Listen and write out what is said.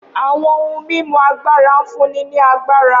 Awọn ohun mimu agbara n funni ni agbara